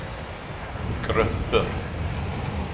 grupper